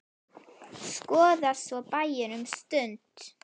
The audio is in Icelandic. Skoða svo bæinn um stund.